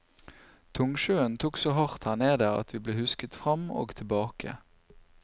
Tungsjøen tok så hardt her nede at vi ble husket fram og tilbake.